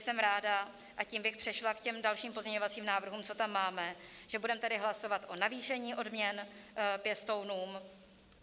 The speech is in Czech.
Jsem ráda - a tím bych přešla k těm dalším pozměňovacím návrhům, co tam máme - že budeme tedy hlasovat o navýšení odměn pěstounům.